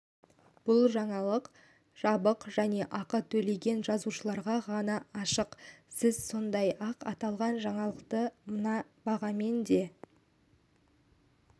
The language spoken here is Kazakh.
бұл жаңалық жабық және ақы төлеген жазылушыларға ғана ашық сіз сондай-ақ аталған жаңалықты мына бағамен де